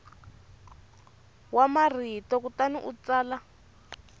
wa marito kutani u tsala